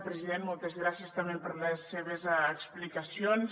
president moltes gràcies també per les seves explicacions